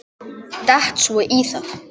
Datt svo í það.